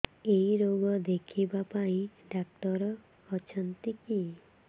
ଏଇ ରୋଗ ଦେଖିବା ପାଇଁ ଡ଼ାକ୍ତର ଅଛନ୍ତି କି